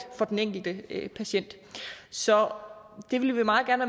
for den enkelte patient så det vil vi meget gerne